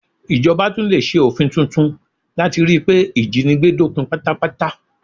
Ìjọba tún lè ṣe òfin tuntun láti ríi pé ìjínigbé dópin pátápátá